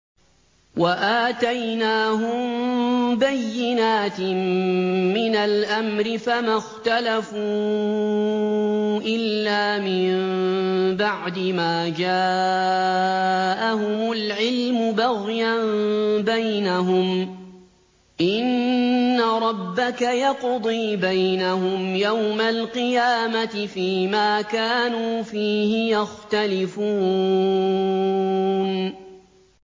وَآتَيْنَاهُم بَيِّنَاتٍ مِّنَ الْأَمْرِ ۖ فَمَا اخْتَلَفُوا إِلَّا مِن بَعْدِ مَا جَاءَهُمُ الْعِلْمُ بَغْيًا بَيْنَهُمْ ۚ إِنَّ رَبَّكَ يَقْضِي بَيْنَهُمْ يَوْمَ الْقِيَامَةِ فِيمَا كَانُوا فِيهِ يَخْتَلِفُونَ